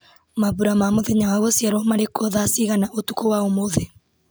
mambura ma mũthenya wa gũciarwo marĩ kuo thaa cigana ũtukũ wa ũmũthĩ